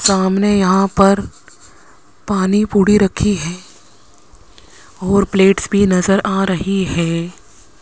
सामने यहां पर पानी पूड़ी रखी है और प्लेट्स भी नजर आ रही है।